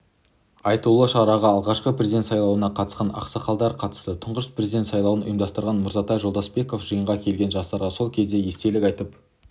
айтулы шараға алғашқы президент сайлауына қатысқан ақсақалдар қатысты тұңғыш президент сайлауын ұйымдастырған мырзатай жолдасбеков жиынға келген жастарға сол кезден естелік айтып